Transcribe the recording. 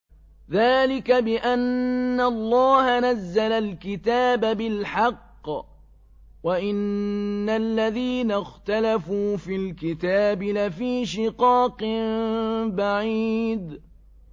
ذَٰلِكَ بِأَنَّ اللَّهَ نَزَّلَ الْكِتَابَ بِالْحَقِّ ۗ وَإِنَّ الَّذِينَ اخْتَلَفُوا فِي الْكِتَابِ لَفِي شِقَاقٍ بَعِيدٍ